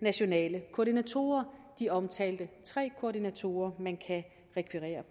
nationale koordinatorer de omtalte tre koordinatorer man kan rekvirere